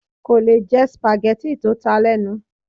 Kò lè jẹ spaghetti tó ta lenu